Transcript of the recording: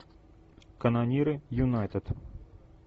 канониры юнайтед